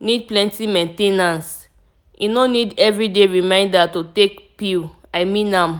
need plenty main ten ance - e no need every day reminder to take pill i mean am